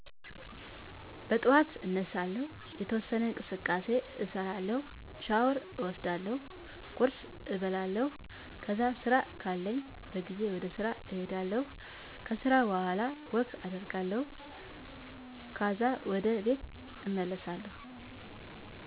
በጠዋት አነሳለሁ፤ የተወሠነ እንቅስቃሴ እሰራለሁ፤ ሻወር እወስዳለሁ፤ ቁርስ እበላለሁ፤ ከዛ ስራ ካለኝ በጊዜ ወደስራ እሄዳለሁ ከስራ በኋላ ወክ አደርጋለሁ ካዛ ወደ ቤት እመለሣለሁ።